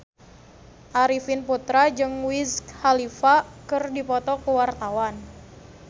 Arifin Putra jeung Wiz Khalifa keur dipoto ku wartawan